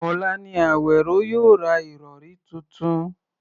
Ọ̀la ni Àwèró yóò ra ìrọ̀rí tuntun